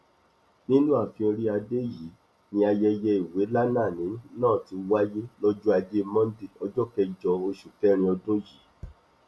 nínú ààfin oríadé yìí ni ayẹyẹ ìwélànàní náà ti wáyé lọjọ ajé monde ọjọ kẹjọ oṣù kẹrin ọdún yìí